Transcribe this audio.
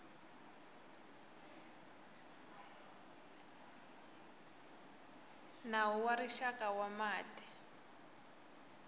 nawu wa rixaka wa mati